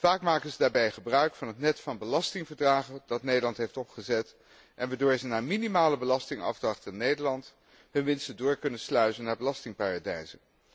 Vaak maken zij daarbij gebruik van het net van belastingverdragen dat Nederland heeft opgezet en waardoor zij na minimale belastingafdracht in Nederland hun winsten door kunnen sluizen naar belastingparadijzen.